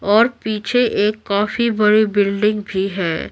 और पीछे एक काफी बड़ी बिल्डिंग भी है।